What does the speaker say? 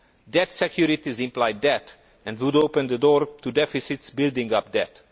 Debt securities imply debt and would open the door to deficits building up debt.